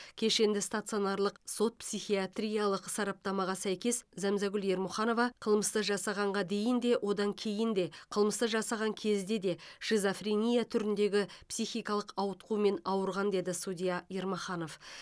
кешенді стационарлық сот психиатриялық сараптамаға сәйкес зәмзагүл ермұханова қылмысты жасағанға дейін де одан кейін де қылмысты жасаған кезде де шизофрения түріндегі психикалық ауытқумен ауырған деді судья ермаханов